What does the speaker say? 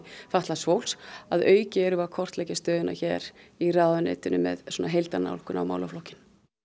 fatlaðs fólks að auki erum við að kortleggja stöðuna hér í ráðuneytinu með svona heildarnálgun á málaflokkinn